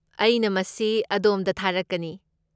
ꯑꯩꯅ ꯃꯁꯤ ꯑꯗꯣꯝꯗ ꯊꯥꯔꯛꯀꯅꯤ꯫